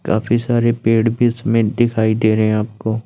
काफी सारे पेड़ बीच मे दिखाई दे रहे आपको।